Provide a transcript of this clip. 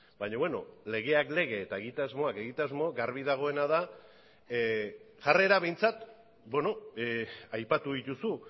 baina beno legeak lege eta egitasmoak egitasmo garbi dagoena da jarrera behintzat aipatu dituzu